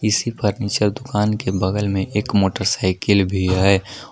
इसी फर्नीचर दुकान के बगल में एक मोटरसाइकिल भी है।